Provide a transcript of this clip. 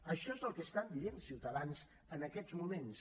això és el que estan dient ciutadans en aquests moments